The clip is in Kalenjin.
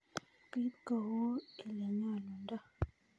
Bit kou ilenyolundo.